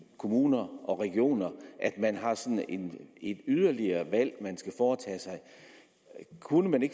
kommuner og regioner at man har sådan et yderligere valg man skal foretage kunne vi